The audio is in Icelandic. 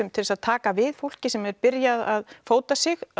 til að taka við fólki sem er að byrja að fóta sig